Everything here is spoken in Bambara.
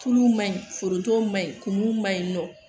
Tulu ma ɲi foronto ma ɲi kumu ma ɲi nɔ